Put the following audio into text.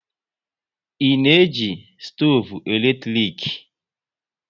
Ị na eji stoovu eletrik?